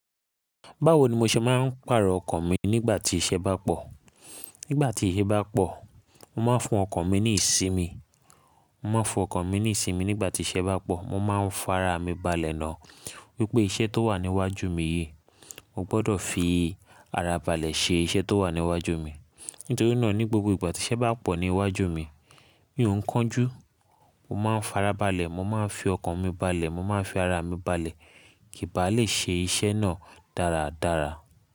Báwo ni mo ṣe máa ń pàrọ̀ ọkàn mi nígbà tí iṣẹ́ bá pọ̀? Nígbà tí iṣẹ́ bá pọ̀, mo máa ń fún ọkàn mi ní ìsinmi. Mo máa ń fún ọkàn mi ní ìsinmi nígbà tí iṣẹ́ bá pọ̀. Mo máa ń fara mi balẹ̀ náà wípé iṣẹ́ tó wà níwájú mi yìí, mo gbọ́dọ̀ fi ara balẹ̀ ṣe iṣẹ́ tó wà níwájú mi. Nítorí náà ní gbogbo ìgbà tí iṣẹ́ bá pọ̀ níwájú mi, mí ò ń kánjú, mo máa ń fara balẹ̀, mo máa ń fi ọkàn mi balẹ̀, mo máa ń fi ara mi balẹ̀ kí n ba lè ṣe iṣẹ́ náà dáradára.